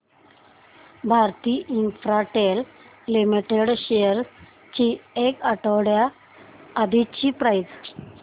Bharti Infratel limited shares ची एक आठवड्या आधीची प्राइस